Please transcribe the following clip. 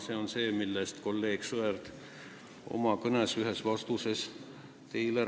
Sellest rääkis teile ka kolleeg Sõerd ühes oma vastuses teile.